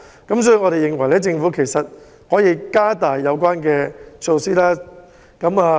因此，我們認為政府可以延長及加大有關措施。